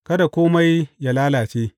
Kada kome yă lalace.